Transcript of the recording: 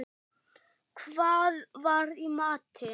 Hvað var í matinn?